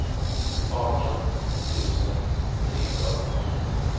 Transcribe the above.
arton tusen trehundraåttionio